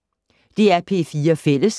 DR P4 Fælles